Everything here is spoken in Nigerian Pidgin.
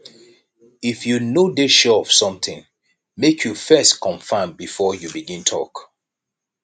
if you no dey sure of somtin make you first confirm before you begin tok